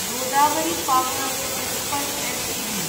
Godavari power Ispat Ltd